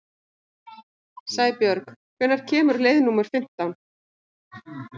Sæbjörg, hvenær kemur leið númer fimmtán?